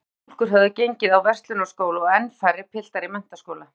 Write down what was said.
Nokkrar stúlkur höfðu gengið á Verslunarskóla og enn færri piltar í menntaskóla.